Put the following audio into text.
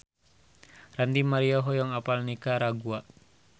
Ranty Maria hoyong apal Nikaragua